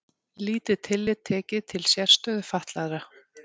Lítið tillit tekið til sérstöðu fatlaðra